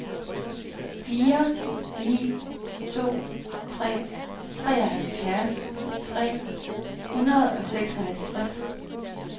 fire ni to tre treoghalvfjerds tre hundrede og seksoghalvtreds